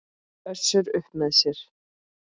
Össur upp með sér.